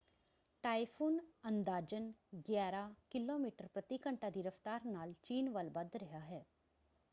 Typhoon ਅੰਦਾਜ਼ਨ ਗਿਆਰਾਂ kilometre ਪ੍ਰਤੀ ਘੰਟਾ ਦੀ ਰਫ਼ਤਾਰ ਨਾਲ ਚੀਨ ਵੱਲ ਵੱਧ ਰਿਹਾ ਹੈ।